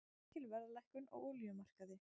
Mikil verðlækkun á olíumarkaði